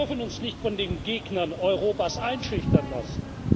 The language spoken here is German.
Wir dürfen uns nicht von den Gegnern Europas einschüchtern lassen!